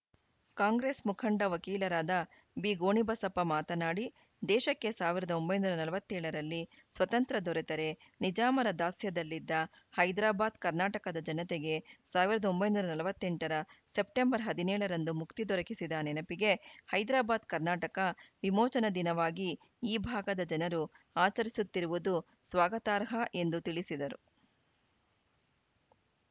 ಕಾಂಗ್ರೆಸ್‌ ಮುಖಂಡ ವಕೀಲರಾದ ಬಿಗೋಣಿಬಸಪ್ಪ ಮಾತನಾಡಿ ದೇಶಕ್ಕೆ ಸಾವಿರದ ಒಂಬೈನೂರ ನಲವತ್ತ್ ಏಳ ರಲ್ಲಿ ಸ್ವತಂತ್ರ ದೊರೆತರೆ ನಿಜಾಮರ ದಾಸ್ಯದಲ್ಲಿದ್ದ ಹೈದರಾಬಾದ್‌ ಕರ್ನಾಟಕದ ಜನತೆಗೆ ಸಾವಿರದ ಒಂಬೈನೂರ ನಲವತ್ತ್ ಎಂಟು ರ ಸೆಪ್ಟೆಂಬರ್ ಹದಿನೇಳ ರಂದು ಮುಕ್ತಿ ದೊರಕಿದ ನೆನಪಿಗೆ ಹೈದರಾಬಾದ್‌ ಕರ್ನಾಟಕ ವಿಮೋಚನ ದಿನವಾಗಿ ಈ ಭಾಗದ ಜನರು ಆಚರಿಸುತ್ತಿರುವುದು ಸ್ವಾಗತಾರ್ಹ ಎಂದು ತಿಳಿಸಿದರು